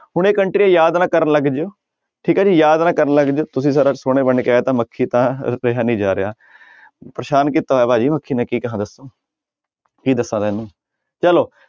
ਹੁਣ ਇਹ ਕੰਟਰੀਆਂ ਯਾਦ ਨਾ ਕਰਨ ਲੱਗ ਜਾਇਓ ਠੀਕ ਹੈ ਜੀ ਯਾਦ ਨਾ ਕਰਨ ਲੱਗ ਜਾਇਓ, ਤੁਸੀਂ ਸੋਹਣੇ ਬਣਕੇ ਆਇਆ ਤਾਂ ਮੱਖੀ ਤਾਂ ਨੀ ਜਾ ਰਿਹਾ ਪਰੇਸਾਨ ਕੀਤਾ ਹੋਇਆ ਭਾਜੀ ਮੱਖੀ ਨੇ ਕੀ ਕਹਾਂ ਦੱਸੋ ਕੀ ਦੱਸਾਂ ਤੈਨੂੰ ਚਲੋ।